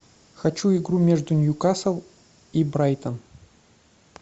хочу игру между ньюкасл и брайтон